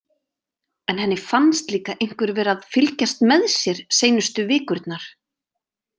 En henni fannst líka einhver vera að fylgjast með sér seinustu vikurnar.